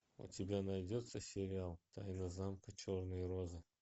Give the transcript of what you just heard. у тебя найдется сериал тайна замка черной розы